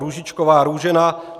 Růžičková Růžena